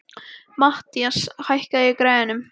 Mathías, hækkaðu í græjunum.